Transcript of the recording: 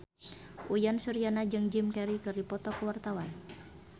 Uyan Suryana jeung Jim Carey keur dipoto ku wartawan